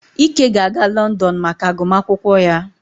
Ike ga-aga Lọndọnụ maka agụmakwụkwọ ya